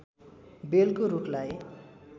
बेलको रुखलाई